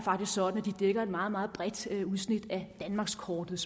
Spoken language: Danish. sådan at de dækker et meget meget bredt udsnit af danmarkskortet